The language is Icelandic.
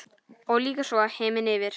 Og lýkur svo: Himinn yfir.